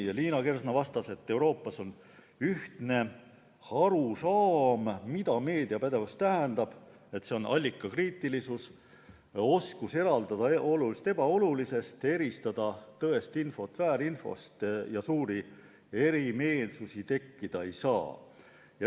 Liina Kersna vastas, et Euroopas on ühtne arusaam sellest, mida meediapädevus tähendab – see on allikakriitilisus, oskus eraldada olulist ebaolulisest, eristada tõest infot väärinfost –, nii et suuri erimeelsusi tekkida ei saa.